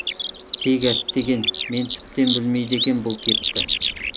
тек әттеген мен тіптен білмейді екем бұл кепті